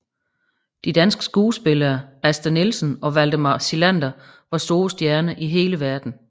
De danske skuespillere Asta Nielsen og Valdemar Psilander var store stjerner i hele verden